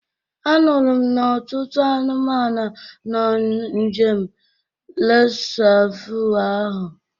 A nụrụ m n'ọtụtụ anụmanụ nọ n'geem resavu ahu